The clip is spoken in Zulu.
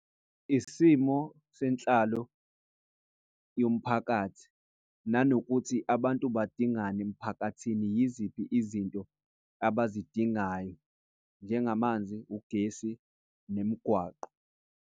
Isimo senhlalo yomphakathi nanokuthi abantu badingani emphakathini. Yiziphi izinto abazidingayo njengamanzi, ugesi nemigwaqo.